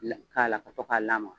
La k'a la ka to k'a lamaa.